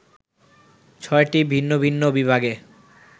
ছয়টি ভিন্ন ভিন্ন বিভাগে